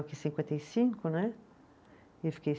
cinquenta e cinco, né, eu fiquei